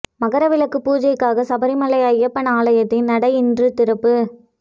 மகர விளக்கு பூஜைக்காக சபரிமலை ஐயப்பன் ஆலயத்தின் நடை இன்று திறப்பு